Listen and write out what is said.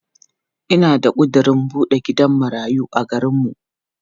Ina da ƙudirin buɗe gidan marayu a garinmu.